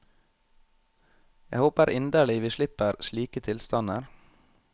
Jeg håper inderlig vi slipper slike tilstander.